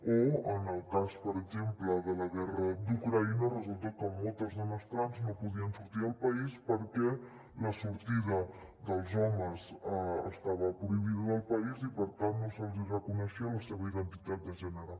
o en el cas per exemple de la guerra d’ucraïna resulta que moltes dones trans no podien sortir del país perquè la sortida dels homes estava prohibida del país i per tant no se’ls hi reconeixia la seva identitat de gènere